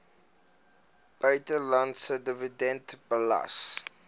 buitelandse dividende belas